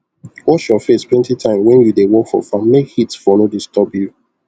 wash your face plenty time wen you dey work for farm make heat for no disturb you